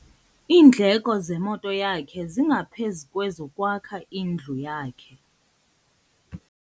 Iindleko zemoto yakhe zingaphezu kwezokwakha indlu yakhe.